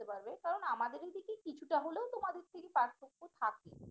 কারণ আমাদের এদিকে কিছুটা হলেও তোমাদের থেকে পার্থক্য থাকে